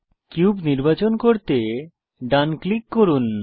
cube নির্বাচন করতে ডান ক্লিক করুন